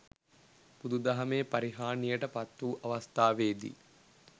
බුදු දහමේ පරිහානියට පත් වූ අවස්ථාවේදී